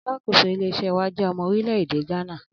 Alákòóso ilé is̩é̩ wa jé̩ o̩mo̩ orílè̩ èdè Gánà